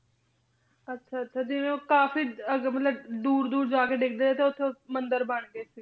ਅੱਛਾ, ਅੱਛਾ, ਜਿਵੇਂ ਉਹ ਕਾਫ਼ੀ ਅੱਗ ਮਤਲਬ ਦੂਰ ਦੂਰ ਜਾ ਕੇ ਡਿੱਗਦੇ ਤੇ ਉੱਥੇ ਮੰਦਿਰ ਬਣ ਗਏ,